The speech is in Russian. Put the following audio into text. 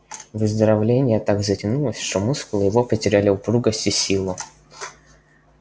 выздоровление так затянулось что мускулы его потеряли упругость и силу